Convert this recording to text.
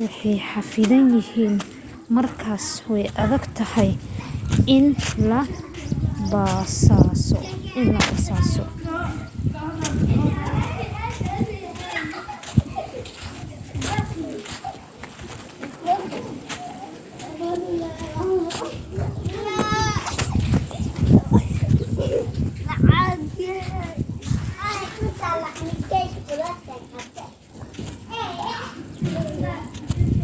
way xaffidan yihiin markaas way adag tahay in la basaaso